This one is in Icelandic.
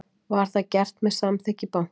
Var það gert með samþykki bankans